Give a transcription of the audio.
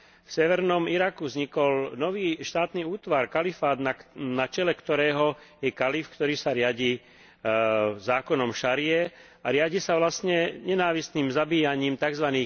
V severnom Iraku vznikol nový štátny útvar kalifát, na čele ktorého je kalif, ktorý sa riadi zákonom šarie a riadi sa vlastne nenávistným zabíjaním tzv.